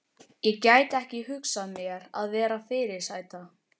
Ég gæti ekki hugsað mér að vera fyrirsæta.